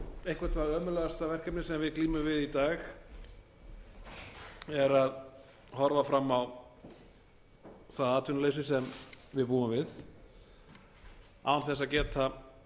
eitthvað það ömurlegasta verkefni sem við glímum við í dag er að horfa fram á það atvinnuleysi sem við búum við án þess að geta